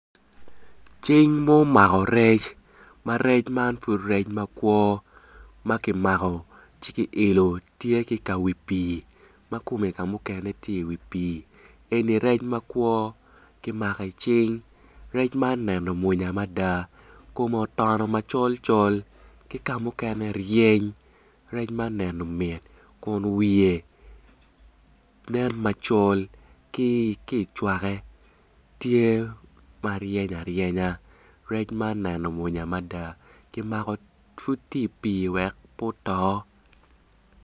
Cing ma omako rec, ma rec man mapud makwo makimako ci ki ilo tye ki kawi pi makome kamukene tye i wi pi eni rec makwo kimako i cing, rec man neno mwonya mada kome otono macol col ki kamukene ryeny rec man neno mit kun wiye nen macol ki cwake tye maryeny aryenya rec man neno mwonya mada kimako pud tye i pi wek pe oto.